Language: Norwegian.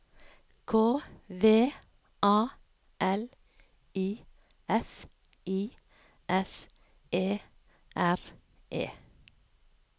K V A L I F I S E R E